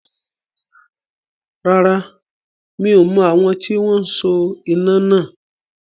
Rárá, mi ò mọ̀ àwọn tí wọn so iná náà.